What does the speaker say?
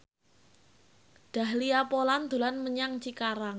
Dahlia Poland dolan menyang Cikarang